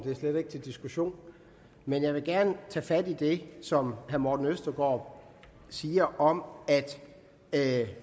slet ikke til diskussion men jeg vil gerne tage fat i det som herre morten østergaard siger om at